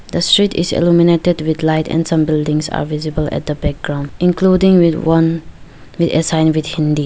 the street is illuminated with light and some buildings are visible at the background including one sign with hindi.